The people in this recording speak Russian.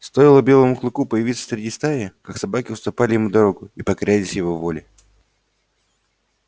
стоило белому клыку появиться среди стаи как собаки уступали ему дорогу и покорялись его воле